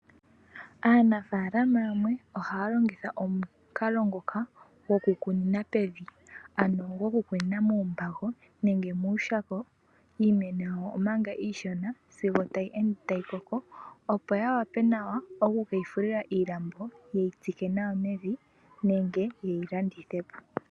Aanafaalama yamwe ohaya longitha omukalo ngoka gokukunina pevi, ano goku kunina muumbago nenge muushako iimeno yawo omanga iishona sigo tayi koko, opo yawape nawa oku keyi fulila iilambo ye yi tsike nenge ye yi landithe po.